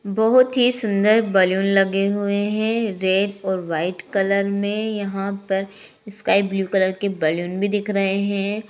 बहुत ही सुंदर बैलून लगे हुए हैं रेड और वाइट कलर में यहाँ पर स्काई ब्लू कलर के बैलून भी दिख रहे हैं।